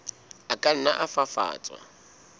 a ka nna a fafatswa